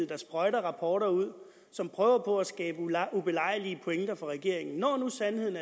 der sprøjter rapporter ud som prøver på at skabe ubelejlige pointer for regeringen når nu sandheden